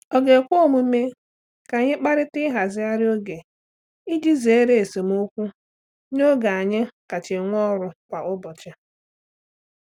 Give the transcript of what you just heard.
Ọ̀ ga-ekwe omume ka anyị kparịta ịhazigharị oge iji zere esemokwu n'oge anyị kacha nwee ọrụ kwa ụbọchị?